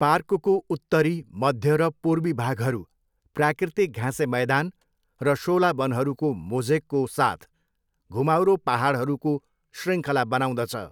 पार्कको उत्तरी, मध्य र पूर्वी भागहरू प्राकृतिक घाँसे मैदान र शोला वनहरूको मोज़ेकको साथ घुमाउरो पाहाडहरूको शृङ्खला बनाउँदछ।